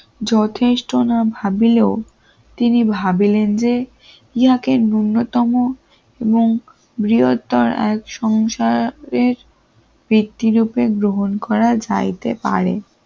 যথেষ্ট না ভাবলেও তিনি ভাবলেন যে যাকে ন্যূনতম এবং বৃহত্তর এক সংসারের ব্যক্তিরূপে গ্রহণ করা যাইতে পারে